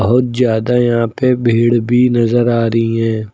बहुत ज्यादा यहां पे भीड़ भी नजर आ रही हैं।